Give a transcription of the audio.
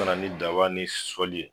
O nana ni daba ni sɔli ye.